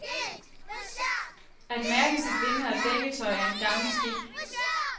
At mærke sit linned og dækketøj er en gammel skik.